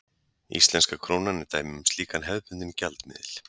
Íslenska krónan er dæmi um slíkan hefðbundinn gjaldmiðil.